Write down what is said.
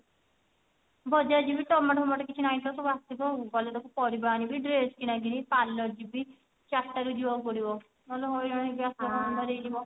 ବଜାର ଯିବି ଟମାଟ ଫମାଟ କିଛି ନାଇଁ ତ ସବୁ ଆସିବ ଆଉ କାଲି ଦେଖୁନୁ ପାରିବା ଆଣିବି dress କିଣା କିଣି parlour ଯିବୀ ଚାରିଟା ରୁ ଯିବାକୁ ପଡିବ ନହେଲ ହଇରାଣ ହେଇ ଯିବ